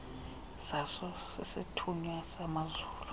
zaso sisithunywa samazulu